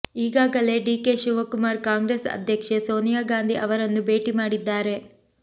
ಈಗಾಗಲೇ ಡಿಕೆ ಶಿವಕುಮಾರ್ ಕಾಂಗ್ರೆಸ್ ಅಧ್ಯಕ್ಷೆ ಸೋನಿಯಾಗಾಂಧಿ ಅವರನ್ನು ಭೇಟಿ ಮಾಡಿದ್ದಾರೆ